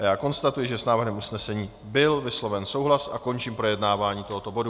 A já konstatuji, že s návrhem usnesení byl vysloven souhlas, a končím projednávání tohoto bodu.